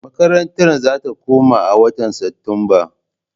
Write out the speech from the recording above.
Makarantar za ta koma a watan Satumba.